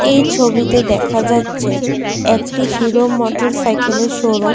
এই ছবিতে দেখা যাচ্ছে একটি হিরো মোটরসাইকেলের শোরুম ।